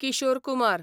Kishore Kumar